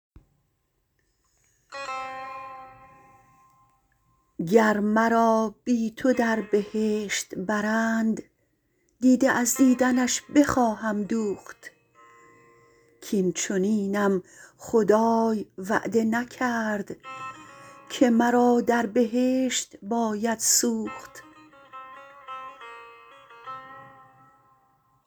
گر مرا بی تو در بهشت برند دیده از دیدنش بخواهم دوخت کاین چنینم خدای وعده نکرد که مرا در بهشت باید سوخت